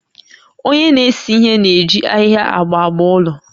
Onye na-ese ihe na-eji ahịhịa agba agba ụlọ